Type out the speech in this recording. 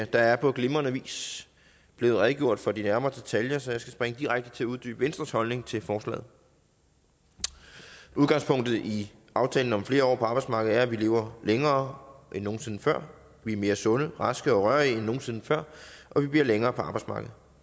der er på glimrende vis blev redegjort for de nærmere detaljer så jeg skal springe direkte til at uddybe venstres holdning til forslaget udgangspunktet i aftale om flere år på arbejdsmarkedet er at vi lever længere end nogen sinde før vi er mere sunde raske og rørige end nogen sinde før og vi bliver længere på arbejdsmarkedet